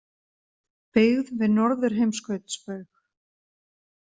Byggð við Norðurheimskautsbaug.